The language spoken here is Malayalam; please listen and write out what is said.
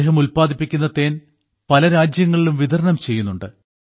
അദ്ദേഹം ഉല്പാദിപ്പിക്കുന്ന തേൻ പല രാജ്യങ്ങളിലും വിതരണം ചെയ്യുന്നുണ്ട്